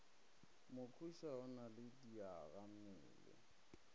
mokhuša o na le diagammele